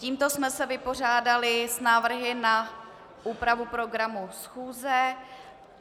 Tímto jsme se vypořádali s návrhy na úpravu programu schůze.